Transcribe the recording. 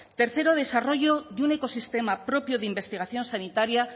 tercero desarrollo de un ecosistema propio de investigación sanitaria